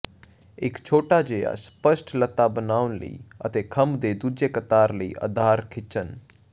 ਇੱਕ ਛੋਟਾ ਜਿਹਾ ਸਪਸ਼ਟ ਲਤ੍ਤਾ ਬਣਾਉ ਅਤੇ ਖੰਭ ਦੇ ਦੂਜੇ ਕਤਾਰ ਲਈ ਆਧਾਰ ਖਿੱਚਣ